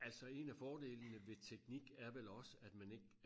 altså en af fordelene ved teknik er vel også at man ikke